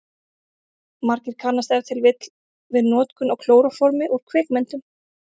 Margir kannast ef til vill við notkun á klóróformi úr kvikmyndum.